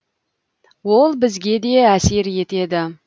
ол бізге де әсер етеді